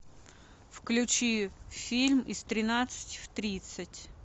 включи фильм из тринадцати в тридцать